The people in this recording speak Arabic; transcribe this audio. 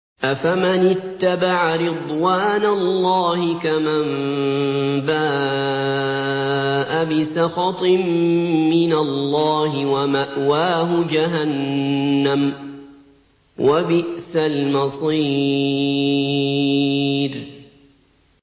أَفَمَنِ اتَّبَعَ رِضْوَانَ اللَّهِ كَمَن بَاءَ بِسَخَطٍ مِّنَ اللَّهِ وَمَأْوَاهُ جَهَنَّمُ ۚ وَبِئْسَ الْمَصِيرُ